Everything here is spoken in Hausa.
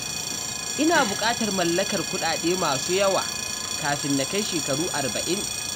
Ina bukatar mallakar kudade masu yawa kafin na kai shekaru arba'in.